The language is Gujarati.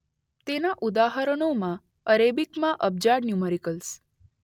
તેના ઉદાહરણોમાં અરેબિકમાં અબજાડ ન્યુમરિકલ્સ